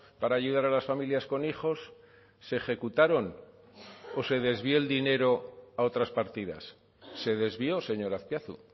para ayudar a las familias con hijos se ejecutaron o se desvió el dinero a otras partidas se desvió señor azpiazu